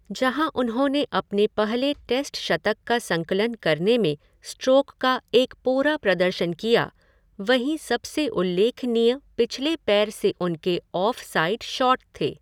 जहां उन्होंने अपने पहले टेस्ट शतक का संकलन करने में स्ट्रोक का एक पूरा प्रदर्शन किया, वहीं सबसे उल्लेखनीय पिछले पैर से उनके ऑफ़ साइड शॉट थे।